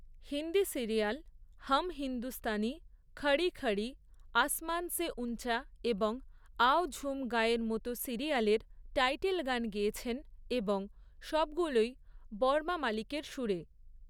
Hindi serial ‘Hum Hindustani’, ‘Khadi Khadi’, ‘Aasman Se Ooncha’ এবং ‘আও ঝুম গায়ে’এর মতো সিরিয়ালের টাইটেল গান গেয়েছেন, এবং সবগুলোই বর্মা মালিকের সুরে।